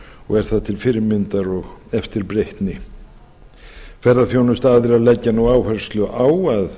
og er það til fyrirmyndar og eftirbreytni ferðaþjónustuaðilar leggja nú áherslu á að